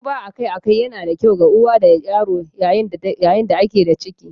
Duba akai-akai yana da kyau ga uwa da yaro yayin da ake da ciki.